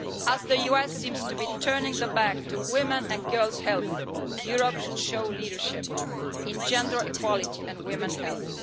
As the US seems to be turning its back on women and girls' health, Europe should show leadership in gender equality and women's health.